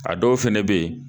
A dɔw fana bɛ yen